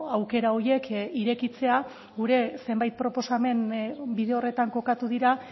aukera horiek irekitzea gure zenbait proposamen bide horretan kokatu dira